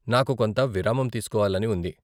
నాకు కొంత విరామం తీసుకోవాలని ఉంది .